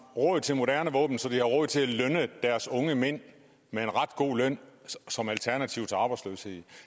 råd til moderne våben så de har råd til at lønne deres unge mænd med en ret god løn som alternativ til arbejdsløshed